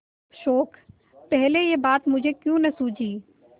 शोक पहले यह बात मुझे क्यों न सूझी